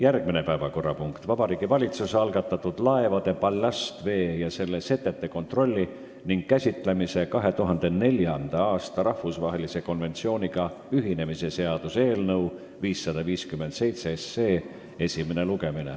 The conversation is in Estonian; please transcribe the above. Järgmine päevakorrapunkt on Vabariigi Valitsuse esitatud laevade ballastvee ja selle setete kontrolli ning käitlemise 2004. aasta rahvusvahelise konventsiooniga ühinemise seaduse eelnõu 557 esimene lugemine.